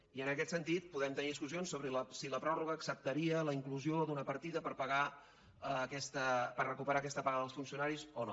i en aquest sentit podem tenir discussions sobre si la pròrroga acceptaria la inclusió d’una partida per recuperar aquesta paga dels funcionaris o no